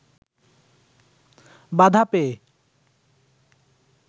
বাধা পেয়ে